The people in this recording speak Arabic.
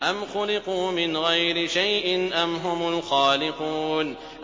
أَمْ خُلِقُوا مِنْ غَيْرِ شَيْءٍ أَمْ هُمُ الْخَالِقُونَ